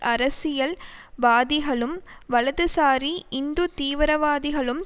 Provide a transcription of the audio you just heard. அரசியல் வாதிகளும் வலதுசாரி இந்து தீவிரவாதிகளும்